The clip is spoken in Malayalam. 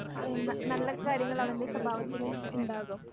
ഏഹ് ന നല്ല കാര്യങ്ങളവൻ്റെ സ്വഭാവത്തിലും ഇണ്ടാകും.